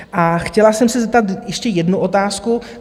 A chtěla jsem se zeptat ještě jednu otázku.